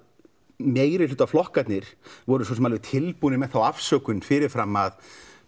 meiri hluta flokkarnir voru svo sem alveg tilbúnir með þá afsökun fyrir fram að